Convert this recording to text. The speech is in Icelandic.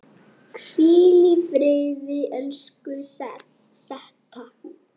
Hvíl í friði, elsku Setta.